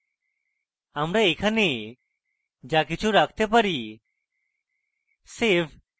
আমরা এখানে যা কিছু রাখতে পারি